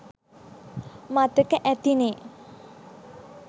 මතක ඇතිනේ